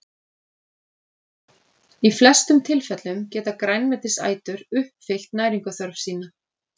Í flestum tilfellum geta grænmetisætur uppfyllt næringarþörf sína.